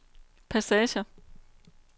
passager